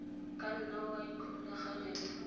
ka nna wa ikgolaganya le